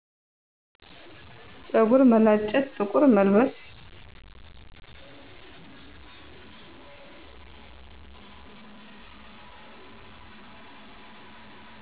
ፀጉር መላጨት ጥቁር መልበስ